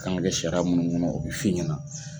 A k'an ka kɛ sariya munnu kɔnɔ o bɛ fi ɲɛna.